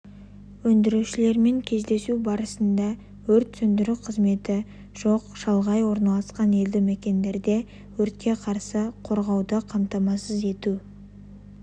өндірушілермен кездесу барысында өрт сөндіру қызметі жоқ шалғай орналасқан елді мекендерде өртке қарсы қорғауды қамтамасыз ету